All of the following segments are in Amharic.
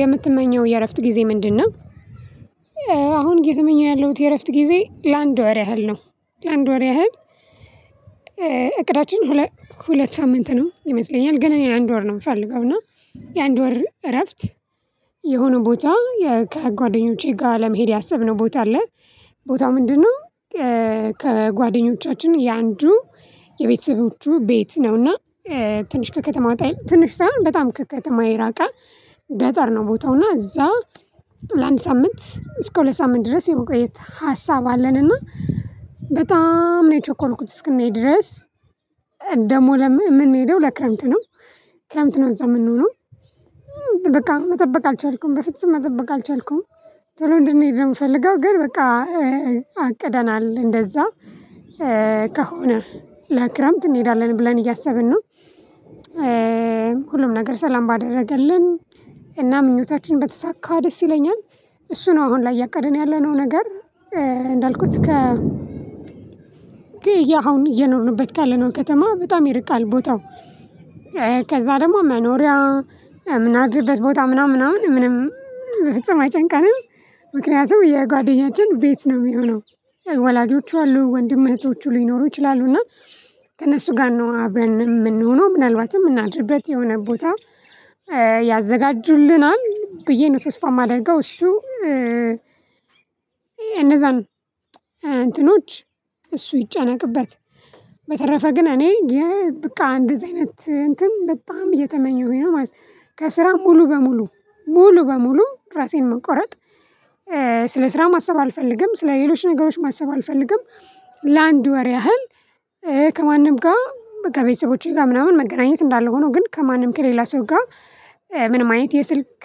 የምትመኘው የእረፍት ጊዜ ምንድነው? አሁን እየትመኘው ያለሁት የእረፍት ጊዜ ላንድ ወር ያህል ነው ላንድ ወር ያህል። እቅዳችን ሁለት ሁለት ሳምንት ነው ይመስለኛል ግን እኔ አንድ ወር ነው ምፈልገው። እና የአንድ ወር እረፍት። የሆነ ቦታ ከጓደኞቼ ጋ ለመሄድ ያሰብነው ቦታ አለ ቦታው ምንድነው? ከጓደኞቻችን የአንዱ የቤተሰቦቹ ቤት ነውና ትንሽ ከከተማ ወጣ ይላል ትንሽ ሳይሆን በጣም ከከተማ የራቀ ገጠር ነው። ቦታው እና እዛ ለአንድ ሳምንት እስከ ሁለት ሳምንት ድረስ የመቆየት ሀሳብ አለን። እና በጣም ነው የቸኮልኩት እስክንሄድ ድረስ። ደሞ ለምን ምንሄደው ለክረምት ነው? ክረምት ነው እዛ ምንሆነው? በቃ መጠበቅ አልቻልኩም በፍጹም መጠበቅ አልቻልኩም። ቶሎ እንድንሄድ ነው ምፈልገው ግን በቃ አቅደናል እንደዛ ከሆነ ለክረምት እንሄዳለን ብለን እያሰብን ነው። ሁሉም ነገር ሰላም ባደረገልን እና ምኞታችን በተሳካ ደስ ይለኛል። እሱ ነው አሁን ላይ ያቀድን ያለነው ነገር። እንዳልኩት ከ ግ የ አሁን እየኖርንበት ካለነው ከተማ በጣም ይርቃል ቦታው። ከዛ ደሞ መኖሪያ ምናድርበት ቦታ ምናምን ምናምን ምንም በፍጹም አይጨንቅም። ምክንያቱም የጓደኛችን ቤት ነው ሚሆነው። ወላጆቹ አሉ ወንድም እህቶቹ ሊኖሩ ይችላሉና ከእነሱ ጋር ነው አብረን ምንሆነው ምናልባትም ምናድርበት የሆነ ቦታ። ያዘጋጁልናል ብዬ ነው ተስፋ ማደርገው እሱ። እነዛን እንትኖች እሱ ይጨነቅበት በተረፈ ግን እኔ ብቃ እንደዚህ አይነት እንትን በጣም እየተመኘሁኝ ነው ማለት ነው። ከስራ ሙሉ በሙሉ ሙሉ በሙሉ ራሴን መቆረጥ ስለ ስራ ማሰብ አልፈልግም ስለ ሌሎች ነገሮች ማሰብ አልፈልግም። ለአንድ ወር ያህል ከማንም ጋ ከቤተሰቦቸ ጋ ምናምን መገናኘት እንዳለ ሆኖ ግን ከማንም ከሌላ ሰው ጋ ምንም አይነት የስልክ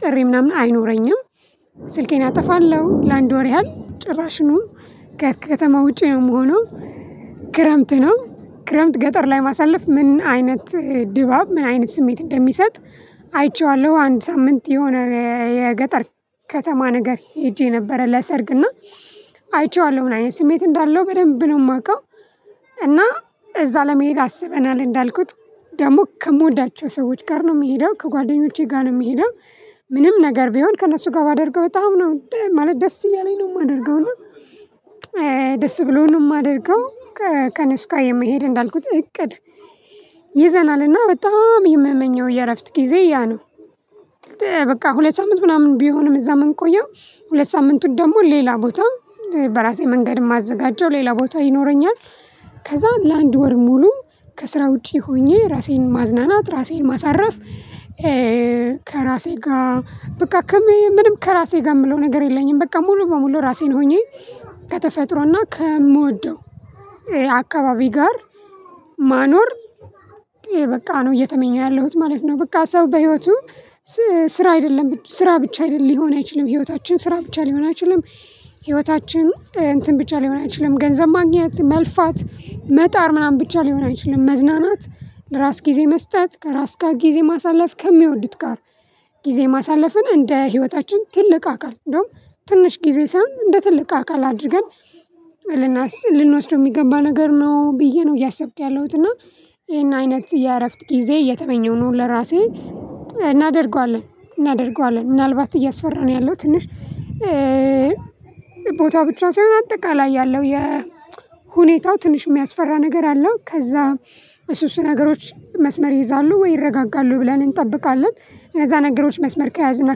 ጥሪ ምናምን አይኖረኝም። ስልኬን አጠፋለሁ ላንድ ወር ያህል ጭራሽኑው ከተማ ውጪ ነው ምሆነው። ክረምት ነው ክረምት ገጠር ላይ ማሳለፍ ምን አይነት ድባብ ምን አይነት ስሜት እንደሚሰጥ። አይቼዋለሁ አንድ ሳምንት የሆነ የገጠር ከተማ ነገር ሄጄ የነበረ ለሰርግና አይቼዋለሁ ምን አይነት ስሜት እንዳለው በደንብ ነው ማቀው። እና እዛ ለመሄድ አስበናል እንዳልኩት ደግሞ ከምወዳቸው ሰዎች ጋር ነው ሚሄደው ከጓደኞቼ ጋ ነው ሚሄደው። ምንም ነገር ቢሆን ከእነሱ ጋ ባደርገው በጣም ነው ማለት ደስ እያለኝ ነው ማደርገው እና። ደስ ብሎን ነው እማደርገው ከነሱ የመሄድ እንዳልኩት እቅድ ይዘናልና በጣም የምመኘው የእረፍት ጊዜ ያ ነው። በቃ ሁለት ሳምንት ምናምን ቢሆንም እዛ ምንቆየው ሁለት ሳምንቱ ደሞ ሌላ ቦታ በራሴ መንገድ እማዘጋጀው ሌላ ቦታ ይኖረኛል። ከዛ ለአንድ ወር ሙሉ ከስራ ውጪ ሆኜ ራሴን ማዝናናት ራሴን ማሳረፍ። ከራሴ ጋ በቃ ከምንም ከራሴ ጋ ምለው ነገር የለኝም በቃ ሙሉ በሙሉ ራሴን ሆኜ ከተፈጥሮና ከምወደው አካባቢ ጋር ማኖር በቃ ነው እየተመኘሁ ያለሁት ማለት ነው። በቃ ሰው በህይወቱ ስራ አይደለም ስራ ብቻ አይደለም ሊሆን አይችልም ህይወታችን ስራ ብቻ ሊሆን አይችልም። ህይወታችን እንትን ብቻ ሊሆን አይችልም ገንዘብ ማግኘት መልፋት መጣር ምናምን ብቻ ሊሆን አይችልም። መዝናናት ለራስ ጊዜ መስጠት ከራስ ጋር ጊዜ ማሳለፍ ከሚወዱት ጋር ጊዜ ማሳለፍን እንደ ህይወታችን ትልቅ አካል እንደውም ትንሽ ጊዜ ሳይሆን እንደ ትልቅ አካል አድርገን ልናስ ልንወስደው ሚገባ ነገር ነው ብዬ ነው እያሰብኩ ያለሁት እና። ይሄን አይነት የእረፍት ጊዜ እየተመኘሁ ነው ለራሴ። እናደርገዋለን እናደርገዋለን ምናልባት እያስፈራን ያለው ትንሽ። ቦታው ብቻ ሳይሆን አጠቃላይ ያለው የሁኔታው ትንሽ ሚያስፈራ ነገር አለው። ከዛ እሱ እሱ ነገሮች መስመር ይይዛሉ ወይ ይረጋጋሉ ብለን እንጠብቃለን። እነዛ ነገሮች መስመር ከያዙና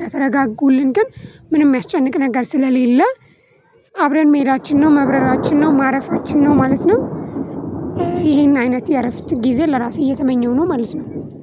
ከተረጋጉልን ግን ምንም ሚያስጨንቅ ነገር ስለሌለ። አብረን መሄዳችን ነው መብረራችን ነው ማረፋችን ነው ማለት ነው። ይሄን አይነት የእረፍት ጊዜ ለራሴ እየተመኘሁ ነው ማለት ነው።